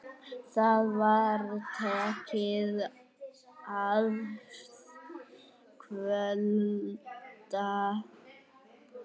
Það var tekið að kvölda.